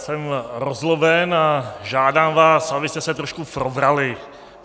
Jsem rozzloben a žádám vás, abyste se trošku probrali.